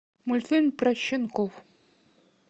мультфильм про щенков